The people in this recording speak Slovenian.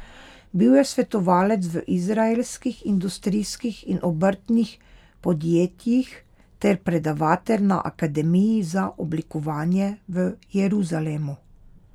Bil je svetovalec v izraelskih industrijskih in obrtnih podjetjih ter predavatelj na Akademiji za oblikovanje v Jeruzalemu.